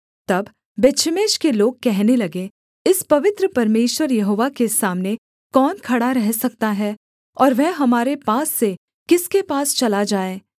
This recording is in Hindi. तब बेतशेमेश के लोग कहने लगे इस पवित्र परमेश्वर यहोवा के सामने कौन खड़ा रह सकता है और वह हमारे पास से किसके पास चला जाए